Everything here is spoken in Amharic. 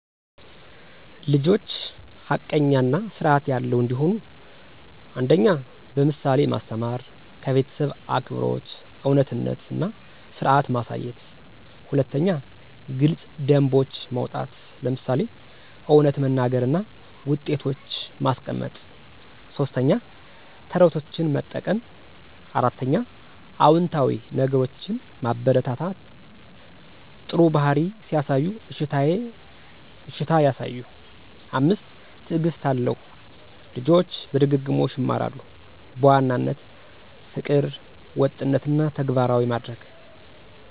ልጆች ሐቀኛ እና ስርዐት ያለው እንዲሆኑ 1. በምሳሌ ማስተማር - ከቤተሰብ አክብሮት፣ እውነትነት እና ስርዐት ማሳየት። 2. ግልጽ ደንቦች ማውጣት - ለምሳሌ እውነት መናገር እና ውጤቶች ማስቀመጥ። 3. ተረቶችን መጠቀም 4. አዎንታዊ ነገሮችን ማበረታታ - ጥሩ ባህሪ ሲያሳዩ እሺታ ያሳዩ። 5. ትዕግስት አለው - ልጆች በድግግሞሽ ይማራሉ። በዋናነት : ፍቅር፣ ወጥነት እና ተግባራዊ ማድረግ